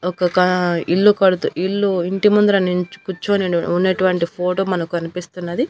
ఒక్కొక్క ఇల్లు కడుతూ ఇల్లు ఇంటి ముందర నించొ కూర్చొని ఉన్నటువంటి ఫోటో మనకు కనిపిస్తున్నది.